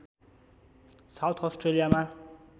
south अस्ट्रेलियामा